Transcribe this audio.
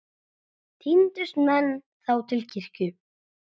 Tíndust menn þá til kirkju.